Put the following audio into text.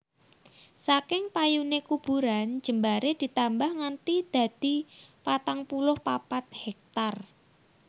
Saking payune kuburan jembaré ditambah nganti dadi patang puluh papat héktar